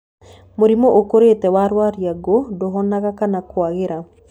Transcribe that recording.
Mũrimũ ũkũrĩte wa rwariũngũ ndũhonaga kana kwagĩra.